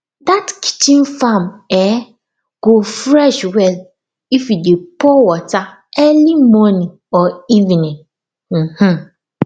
that kitchen farm um go fresh well if you dey pour water early morning or evening um